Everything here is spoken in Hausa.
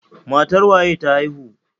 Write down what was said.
Matar waye ta haihu?